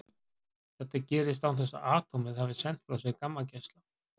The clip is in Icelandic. Þetta gerist án þess að atómið hafi sent frá sér gammageisla.